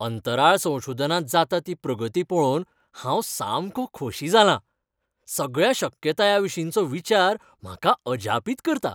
अंतराळ संशोधनांत जाता ती प्रगती पळोवन हांव सामको खोशी जालां! सगळ्या शक्यतायांविशींचो विचार म्हाकाअजापीत करता.